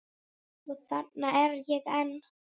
Og þarna er ég enn.